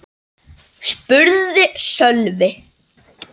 spurði Sölvi.